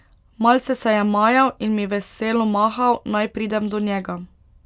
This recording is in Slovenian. Malce se je majal in mi veselo mahal, naj pridem do njega.